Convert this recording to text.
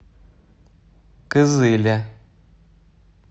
кызыле